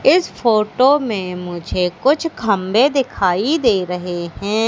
इस फोटो में मुझे कुछ खंबे दिखाई दे रहे हैं।